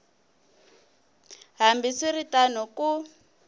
hambi swi ri tano ku